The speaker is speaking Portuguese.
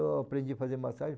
Então eu aprendi a fazer massagem.